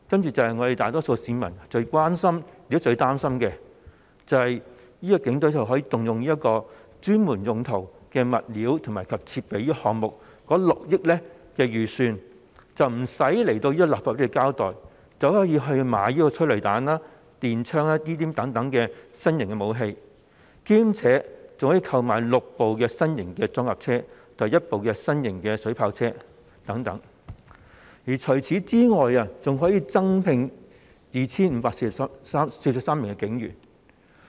就是會發生大多數市民最關心和擔心的事情，警隊可以動用專門用途的物料及設備項目中的6億元預算；警隊無須向立法會交代，便可以直接購買催淚彈和電槍等新型武器，以及可以購買6部新型裝甲車及1部新型水炮車等，此外，警隊還可以增聘 2,543 名警員。